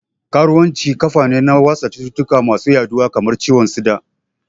Karuwanci kafane na watsa cututtuka masu yaduwa kamar ciwon tsida